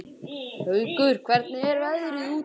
Haukur, hvernig er veðrið úti?